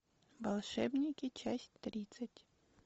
волшебники часть тридцать